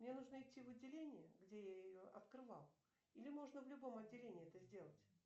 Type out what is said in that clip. мне нужно идти в отделение где я ее открывал или можно в любом отделении это сделать